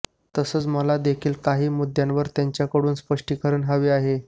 तसंच मला देखील काही मुद्द्यांवर त्यांच्याकडून स्पष्टीकरण हवं आहे